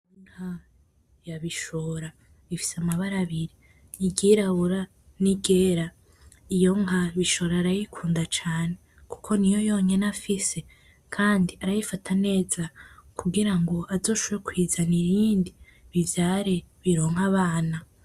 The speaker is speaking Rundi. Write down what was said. Inka ya Bishora ifise amabara abiri, iryirabura n'iryera . Iyo nka Bishora arayikunda cane kuko niyo yonyene afise kandi arayifata neza kugira ngo azoshobore kuyizanira iyindi bivyare bironke abana.